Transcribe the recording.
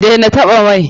Daina taɓa mai!